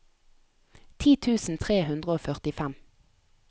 ti tusen tre hundre og førtifem